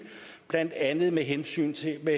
blandt andet med henvisning til at